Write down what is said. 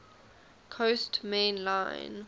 coast main line